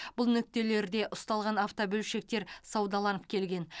бұл нүктелерде ұсталған автобөлшектер саудаланып келген